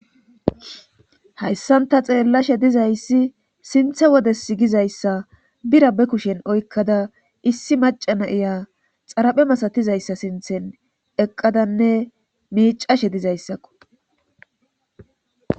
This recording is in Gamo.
Hayssanta xeellashe dizayssi sinthe wodes gizayssa bira be kushen oykkada issi macana iya xaraphe masatizayssa sinthen eqqadanne miicashe dizayssakko